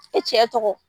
I cɛ tɔgɔ